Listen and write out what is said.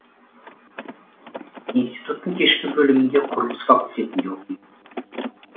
институттың кешкі бөлімінде құрылыс факультетінде оқимын